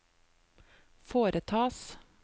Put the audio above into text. foretas